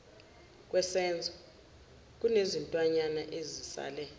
wesenzo kunezintwanyana ezisale